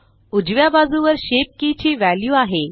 उजव्या बाजुवर shape key ची वॅल्यू आहे